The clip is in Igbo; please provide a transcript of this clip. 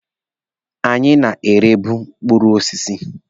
Anyị na-erebu mkpụrụ osisi.